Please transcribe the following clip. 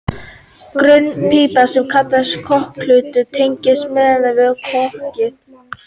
grönn pípa sem kallast kokhlust tengir miðeyrað við kokið